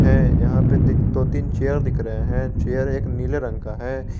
है यहां पे दो तीन चेयर दिख रहे हैं चेयर नीले रंग का है।